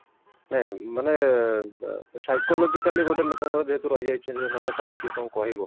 ହଁ ମାନେ psychologically ଗୋଟେ ଲୋକଙ୍କର ଯେହେତୁ ରହି ଯାଇଛି ମତେ କାଳେ କିଏ କଣ କହିବ